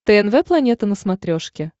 тнв планета на смотрешке